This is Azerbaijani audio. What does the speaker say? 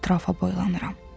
Ətrafa boylanıram.